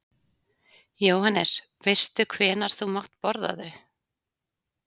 Jóhannes: Veistu hvenær þú mátt borða þau?